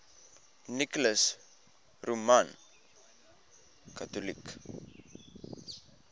nicholas roman catholic